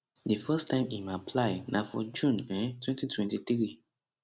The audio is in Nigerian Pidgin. di first time im apply na for june um 2023